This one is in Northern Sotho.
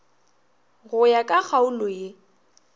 go ya ka kgaolo ye